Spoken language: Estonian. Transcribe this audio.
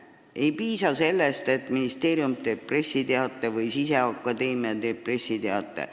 Ei piisa sellest, et ministeerium või Sisekaitseakadeemia teeb pressiteate.